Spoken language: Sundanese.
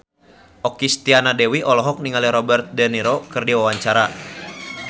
Okky Setiana Dewi olohok ningali Robert de Niro keur diwawancara